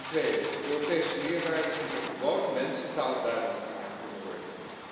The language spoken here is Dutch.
Ten tweede, de Europese meerwaarde moet in gewone mensentaal duidelijk gemaakt kunnen worden.